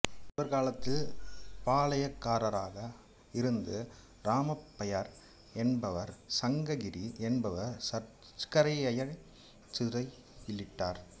இவர் காலத்தில் பாளையக்காரராக இருந்த ராமப்பய்யர் என்பவர் சங்ககிரி என்பவர் சர்க்கரையாரைச் சிறையிலிட்டார்